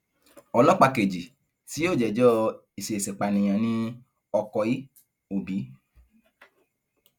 ọlọpàá kejì tí yóò jẹjọ ìṣeèṣìpànìyàn ní ọkọí òbí